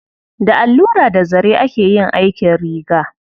Da allura da zare ake yin aikin riga.